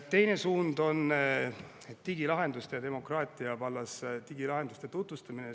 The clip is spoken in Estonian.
Teine suund, see on digilahenduste ja demokraatia vallas, ongi digilahenduste tutvustamine.